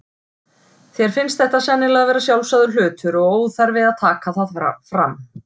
Þér finnst þetta sennilega vera sjálfsagður hlutur og óþarfi að taka það fram.